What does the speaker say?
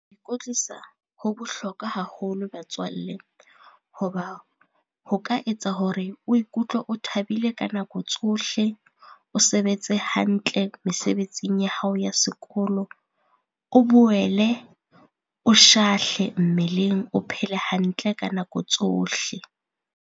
Ikwetlisa ho bohlokwa haholo batswalle. Ho ba ho ka etsa hore o ikutlwe o thabile ka nako tsohle, o sebetse hantle mesebetsing ya hao ya sekolo, o boele o shahle mmeleng, o phele hantle ka nako tsohle.